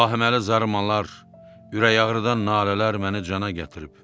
Bu vahiməli zarırmalar, ürək ağrıdan nalələr məni cana gətirib.